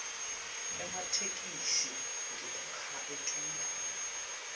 ematheksthi ngekukha etulu